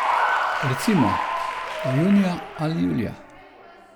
Recimo, da junija ali julija.